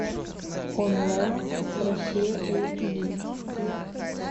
онлайн россия эйч ди